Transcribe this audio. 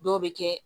Dɔw bɛ kɛ